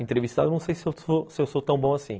Entrevistado, não sei se eu sou tão bom assim.